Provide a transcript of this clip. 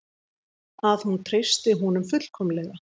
Að hún treystir honum fullkomlega.